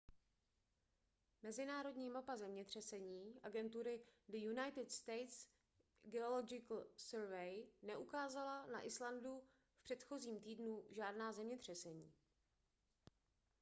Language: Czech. mezinárodní mapa zemětřesení agentury the united states geological survey neukázala na islandu v předchozím týdnu žádná zemětřesení